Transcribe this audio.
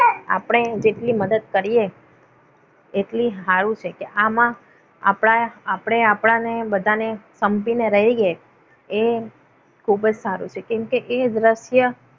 આપણે જેટલી મદદ કરીએ. એટલી સારું છે કે આમાં આપણા આપણે આપણા ને બધાને સમજીને રહીએ એ ખૂબ જ સારું છે. કેમકે એ દ્રશ્ય